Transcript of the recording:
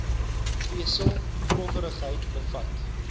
vesel growwerigheid bevat